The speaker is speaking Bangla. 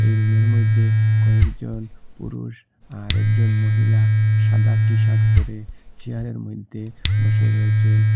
এই রুমে র মইদ্যে কয়েকজন পুরুষ আর একজন মহিলা সাদা টি-শার্ট পরে চেয়ারে র মইদ্যে বসে রয়েচেন।